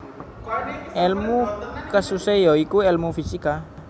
Elmu kususe ya iku elmu fisika